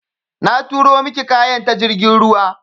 Na turo miki kayan ta jirgin ruwa.